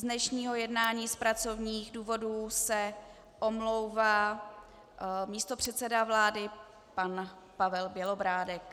Z dnešního jednání z pracovních důvodů se omlouvá místopředseda vlády pan Pavel Bělobrádek.